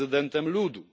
prezydentem ludu.